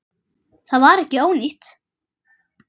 Það var ekki ónýtt.